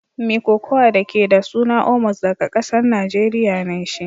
Mai kokawa da ke da suna Omos daga kasan Nijeriya ne shi.